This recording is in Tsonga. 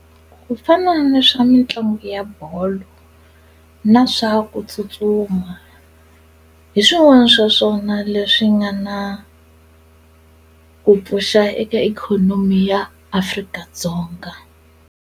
Kufana ni swa mitlangu ya bolo na swa ku tsutsuma hi swin'wana swa swona leswi nga na ku pfuxa eka ikhonomi ya Afrika-Dzonga.